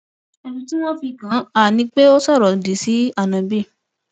ẹsùn tí wọn fi kàn án ni pé ó sọrọ òdì sí áńóbì